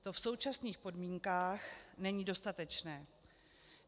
To v současných podmínkách není dostatečné.